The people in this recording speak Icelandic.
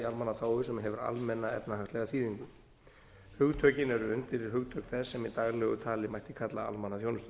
almannaþágu sem hefur almenna efnahagslega þýðingu hugtökin eru undirhugtök þess sem í daglegu tali mætti kalla almannaþjónusta